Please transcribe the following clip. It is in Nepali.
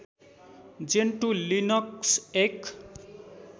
जेन्टु लिनक्स एक